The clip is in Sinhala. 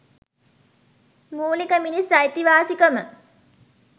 මුලික මිනිස් අයිතිවාසිකම